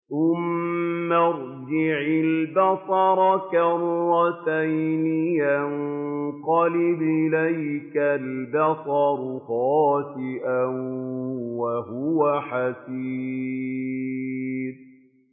ثُمَّ ارْجِعِ الْبَصَرَ كَرَّتَيْنِ يَنقَلِبْ إِلَيْكَ الْبَصَرُ خَاسِئًا وَهُوَ حَسِيرٌ